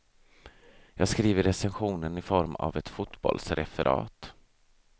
Jag skriver recensionen i form av ett fotbollsreferat.